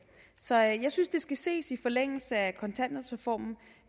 så jeg synes det skal ses i forlængelse af kontanthjælpsreformen